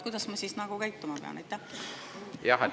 Kuidas ma käituma pean?